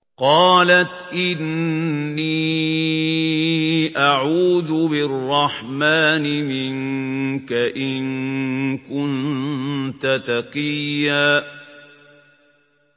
قَالَتْ إِنِّي أَعُوذُ بِالرَّحْمَٰنِ مِنكَ إِن كُنتَ تَقِيًّا